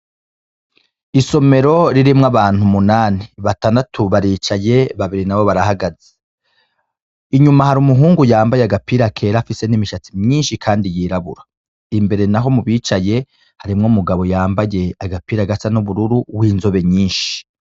Isomero ririmwo abantu umunani, batandatu baricaye, babiri nabo barahagaze, inyuma hari umuhungu yambaye agapira kera afise n'imishatsi myinshi, kandi yirabura, imbere, naho mu bicaye harimwo umugabo yambaye agapira gasa n'ubururu w'inzobe nyinshi.